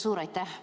Suur aitäh!